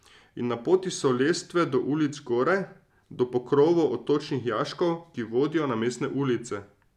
In na poti so lestve do ulic zgoraj, do pokrovov odtočnih jaškov, ki vodijo na mestne ulice.